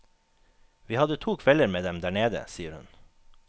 Vi hadde to kvelder med dem der nede, sier hun.